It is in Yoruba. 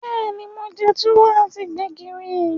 Beeni, mo je Tuwo ati Gbẹ̀gìrì.